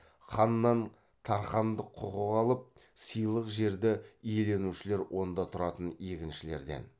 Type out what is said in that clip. ханнан тархандық құқық алып сыйлық жерді иеленушілер онда тұратын егіншілерден